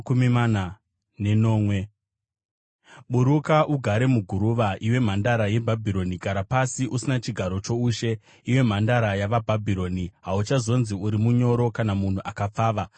“Buruka, ugare muguruva, iwe Mhandara yeBhabhironi; gara pasi usina chigaro choushe, iwe Mhandara yavaBhabhironi. Hauchazonzi uri munyoro kana munhu akapfava.